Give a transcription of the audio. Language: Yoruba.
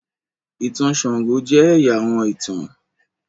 ìtàn sango jẹ ẹya àwọn ìtàn.